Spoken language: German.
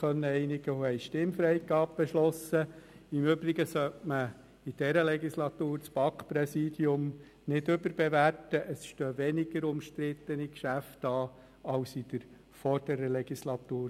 Denn diese waren mit einem relativ grossen Aufwand verbunden, um all die Kommissionssitze, die von den Fraktionen gemeldet wurden, auf die Wahlzettel zu bringen, sodass es reibungslos abläuft.